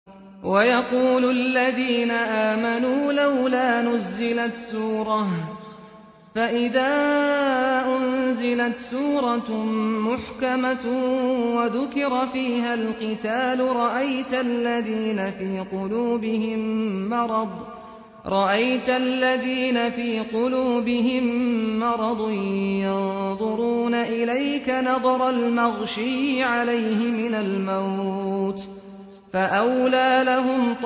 وَيَقُولُ الَّذِينَ آمَنُوا لَوْلَا نُزِّلَتْ سُورَةٌ ۖ فَإِذَا أُنزِلَتْ سُورَةٌ مُّحْكَمَةٌ وَذُكِرَ فِيهَا الْقِتَالُ ۙ رَأَيْتَ الَّذِينَ فِي قُلُوبِهِم مَّرَضٌ يَنظُرُونَ إِلَيْكَ نَظَرَ الْمَغْشِيِّ عَلَيْهِ مِنَ الْمَوْتِ ۖ فَأَوْلَىٰ لَهُمْ